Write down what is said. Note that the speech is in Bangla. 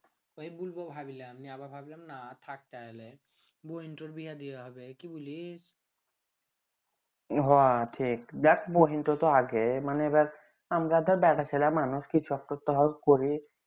ওই বুলবো ভাবলাম আমি আবার ভাবলাম না থাক তাহলে বহীন তার বিহা দিহা হবে কি বলি হ ঠিক যাক বহীন তা তো আগে মানে এইবার আমরা তো আর বেটা ছেলে মানুষ